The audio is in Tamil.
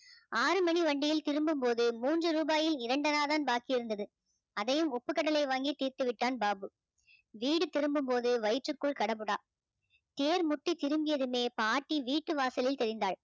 ஆறு மணி வண்டியில் திரும்பும் போது மூன்று ரூபாயில் இரண்டனா தான் பாக்கி இருந்தது அதையும் உப்புக்கடலை வாங்கி தீர்த்து விட்டான் பாபு, வீடு திரும்பும் போது வயிற்றுக்குள் கடபுடா தேர் முட்டி திரும்பியதுமே பாட்டி வீட்டு வாசலில் தெரிந்தாள்.